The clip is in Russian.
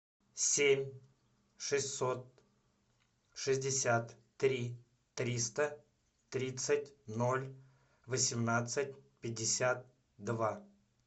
семь шестьсот шестьдесят три триста тридцать ноль восемнадцать пятьдесят два